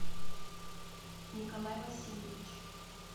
николай васильевич